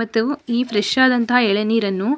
ಮತ್ತು ಈ ಫ್ರೆಶ್ ಆದಂಥ ಎಳನೀರನ್ನು --